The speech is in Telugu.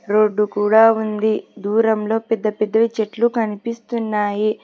రోడ్డు కూడా ఉంది దూరంలో పెద్ద పెద్ద చెట్లు కనిపిస్తున్నాయి.